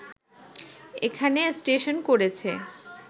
এখানে স্টেশন করেছে